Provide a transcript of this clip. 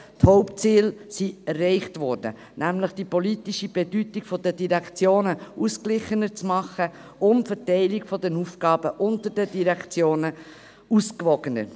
Die Hauptziele wurden erreicht, nämlich die politische Bedeutung der Direktionen ausgeglichener und die Verteilung der Aufgaben unter den Direktionen ausgewogener zu machen.